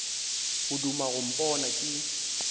o duma go mpona ke